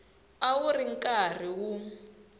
a wu ri karhi wu